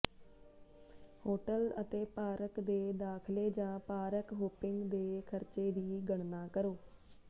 hotel ਅਤੇ park ਦੇ ਦਾਖਲੇ ਜਾਂ ਪਾਰਕ ਹੌਂਪਿੰਗ ਦੇ ਖਰਚੇ ਦੀ ਗਣਨਾ ਕਰੋ